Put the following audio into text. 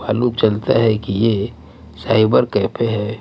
मालूम चलता है कि ये साइबर कैपे है.